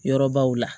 Yɔrɔbaw la